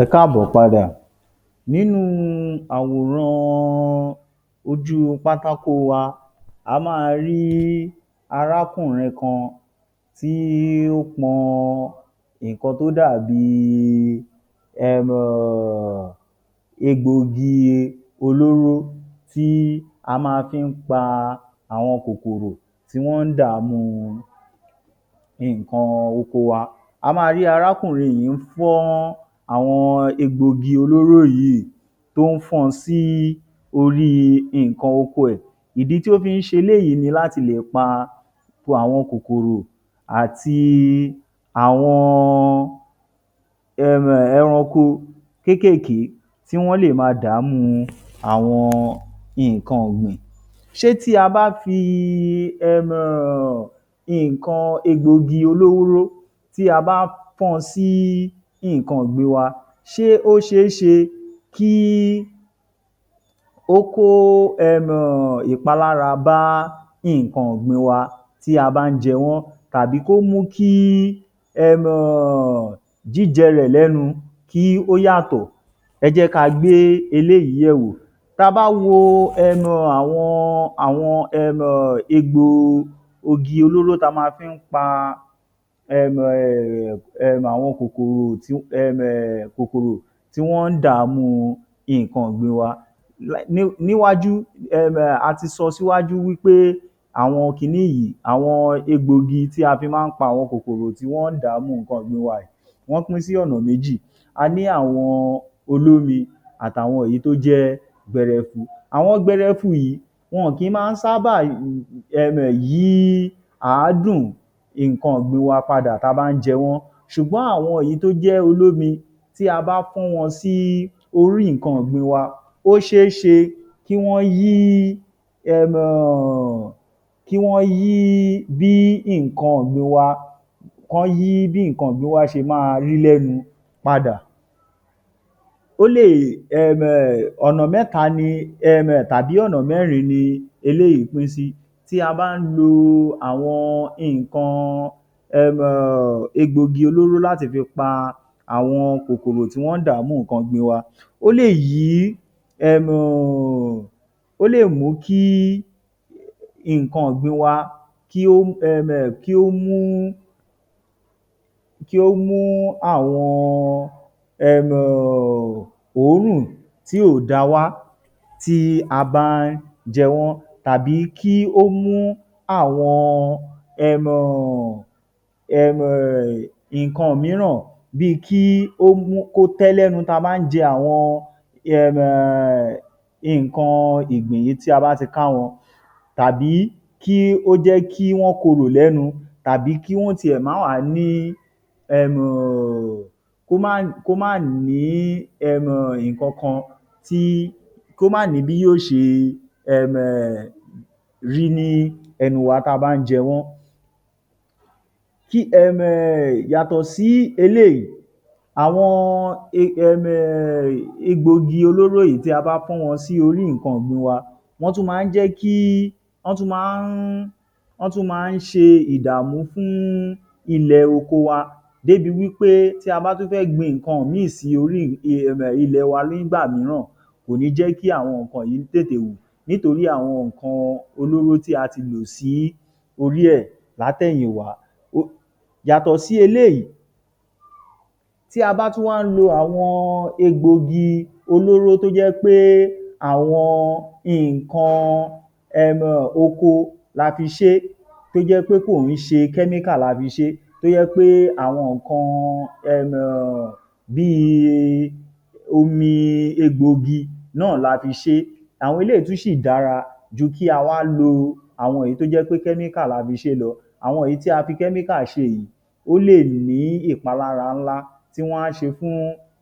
Ẹ káàbọ̀ padà. Nínú àwòrán ojú pátákó wa, a máa rí arákùnrin kan tí ó pọn nǹkan tó dàbíi um egbòogi olóró tí a má fi ń pa àwọn kòkòrò tí wọ́n ń dàámú nǹkan oko wa. A máa rí arákùnrin yìí ń fọ́n àwọn egbòogi olóró yìí tó ń fọ́n ọn sí orí nǹkan oko ẹ̀. Ìdí tí ó fi ń ṣe eléyìí ni làti lè pa àwọn kòkòrò àti àwọn um ẹranko kékèké tí wọ́n lè máa dàámú nǹkan ọ̀gbìn. Ṣé tí a bá fi um nǹkan egbòogi olóró tí a bá fọ́n ọn sí nǹkan ọ̀gbìn wa, ṣe ó ṣeé ṣe kí ó kó um ìpalára bá nǹkan ọ̀gbìn wa tí a bá ń jẹ wọ́n tàbí kó mú kí um jíjẹ rẹ̀ lẹ́nu kí ó yàtọ̀? Ẹ jẹ́ káa gbé eléyìí yẹ̀wò. Ta bá wo um àwọn àwọn um egbògi olóró tí a má fi ń paa um àwọn kòkòrò tí um kòkòrò tí wọ́n ń dàámú nǹkan oko wa, níwájú um a ti sọ síwájú wí pé àwọn kiní yìí àwọn egbòogi tí a fi má ń pa àwọn kòkòrò tí wọ́n ń dààmú nǹkan ọ̀gbìn wa, wọ́n pín sí ọ̀na méjì, a ní àwọn olómi àti àwọn èyí tó jẹ́ gbẹrẹfu. Àwọn gbẹrẹfu yìí wọ̀n kí má ń ṣábà um yí àádùn nǹkan ọ̀gbìn wa padà tí a bá ń jẹ wọ́n ṣùgbọ́n àwọn èyí tí wọ́n jẹ́ olómi tí a bá fọ́n won sí orí nǹkan ọ̀gbìn wa, ọ́ ṣeé ṣe kí wọ́n yí um kí wọ́n yí bí nǹkan ọ̀gbìn wa, kán yí bí nǹkan ọ̀gbìn wa ṣe máa rí lẹ́nu padà. Ó lè um ọ̀nà mẹ́ta ni um tàbí ọ̀nà mẹ́rin ni eléyìí pín sí: tí a bá ń lo àwọn nǹkan um egbòogi olóro láti fi pa aẁọn kòkòrò tí wọ́n ń dààmú nǹkan ọ̀gbìn wa, ó lè yí um ó lè mú kí nǹkan ọ̀gbìn wa um kí ó um kí ó mú ki o mu àwọn um òórùn tí ò dáa wá tí a bá ń jẹ wọ́n tàbí kí ó mú àwọn um nǹkan mííràn bí i kí ó tẹ́ lẹ́nu tí a bá ń jẹ awọ́n um nǹkan ìgbìn yìí tí a bá ti ká wọn tàbí kí ó jẹ́ kí wọ́n korò lẹ́nu tàbí kí wọ́n ó tiẹ̀ má wàá ní um kó má kó má ní um nǹkankan tí kó má ní bí yó ṣe um rí ní ẹnu tá a bá ń jẹ wọ́n. Kí um yàtọ̀ sí eléyìí, àwọn um egbòogi olóró yìí tí a bá fọ́n wọn sí orí nǹkan ọ̀gbin wa, wọ́n tún má ń jẹ́ kí, wọ́n tún má ń wọ́n tún má ń ṣe ìdààmú fún ilẹ̀ oko wa débi wí pé tí a bá ń tí a bá tún fẹ́ gbin nǹkan míì sí orí um ilẹ̀ oko wa nígbà mííràn, kò ní jẹ́ kí àwọn nǹkan yìí tètè wù nítorí àwọn nǹkan olóro tí a ti lò sí orí ẹ látẹ̀yìnwá. Ó yàtọ̀ sí eléyìí, tí a bá tún wá ń lo àwọn egbòogi olóro tó jẹ́ pé àwọn nǹkan um oko la fi ṣe é, tó jẹ́ pé kò ń ṣe chemical la fi ṣé tó jẹ́ pé àwọn nǹkan um bí i omi egbòogi náà la fi ṣé, àwọn eléyìí tún ṣì dára ju kí á wá lo àwọn èyí tó jẹ́ pé chemical la fi ṣé lọ. Àwọn èyí tí a fi chemical ṣe yìí, ó lè ní ìpalára ńlá tí wọ́n á ṣe fún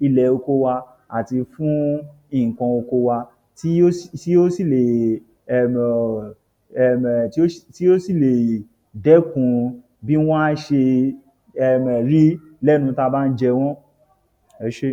ilẹ̀ oko wa àti fún nǹkan oko wa tí ó tí ó sì lè um tí ó sì lè dẹ́kun bí wọ́n á ṣe rí lẹ́nu tá a bá ń jẹ wọ́n. Ẹ ṣé.